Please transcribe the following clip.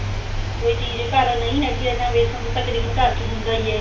ਕੋਈ ਚੀਜ ਨਹੀਂ ਘਰ ਚ ਹੈਗੀ ਤਾਂ ਵੇਸਣ ਤਾਂ ਤਕਰੀਬਨ ਘਰ ਚ ਹੁੰਦਾ ਈ ਏ